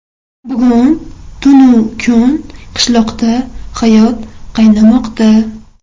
Bugun tun-u kun qishloqda hayot qaynamoqda.